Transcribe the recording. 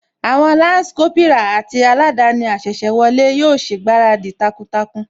Àwọn Lansi Kópírà àti aladani asese wọlé yóò ṣègbáradì takuntakun